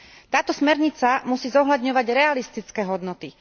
Táto smernica musí zohľadňovať realistické hodnoty.